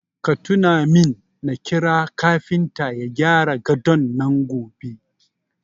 Ka tuna min na kira kafinta ya gyara gadon nan gobe.